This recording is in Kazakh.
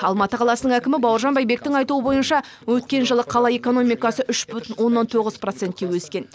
алматы қаласының әкімі бауыржан байбектің айтуы бойынша өткен жылы қала экономикасы үш бүтін оннан тоғыз процентке өскен